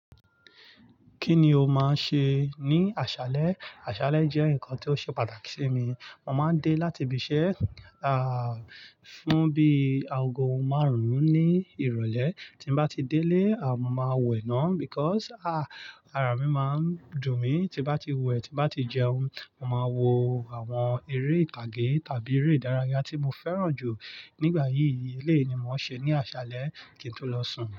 Kíni o máa ṣe ní àṣálẹ́? Àṣálẹ́ jẹ́ nǹkan tó ṣe pàtàkì sí mi. Mo máa ń dé láti ibi iṣẹ́, ah, fún bí aago márùn-ún ní ìrọ̀lẹ́. Tí mo bá ti dé lé, aà, mo máa wẹ̀ náà because, ah, ara mi máa ń dùn mí. Tí mo bá ti wẹ̀, tí mo bá ti jẹun, màá wo àwọn eré ìtàgé tàbí eré ìdárayá tí mo fẹ́ràn jù. Nígbà yí, eleyi ni mo ṣe ní àṣálẹ́ kí n tó lọ sùn.